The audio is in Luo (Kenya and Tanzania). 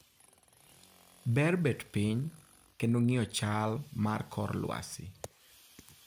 "Ber bet piny kendo ng'iyo chal mar kor lwasi".